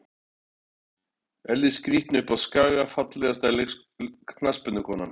Elli skrítni uppá skaga Fallegasta knattspyrnukonan?